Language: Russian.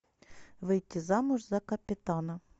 выйти замуж за капитана